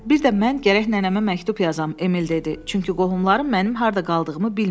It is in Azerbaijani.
Bir də mən gərək nənəmə məktub yazam, Emil dedi, çünki qohumlarım mənim harda qaldığımı bilmirlər.